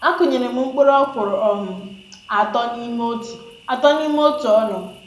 A kụnyere m mkpụrụ ọkwụrụ um atọ nime otu atọ nime otu ọnụ